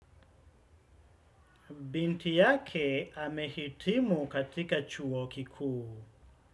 Binti yake amehitimu katika chuo kikuu.